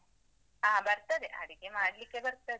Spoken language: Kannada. ಹಾ ಬರ್ತದೆ, ಅಡಿಗೆ ಮಾಡ್ಲಿಕ್ಕೆ ಬರ್ತದೇ.